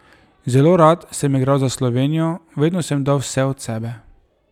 Zelo rad sem igral za Slovenijo, vedno sem dal vse od sebe.